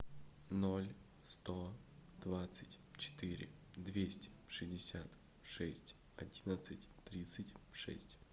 ноль сто двадцать четыре двести шестьдесят шесть одиннадцать тридцать шесть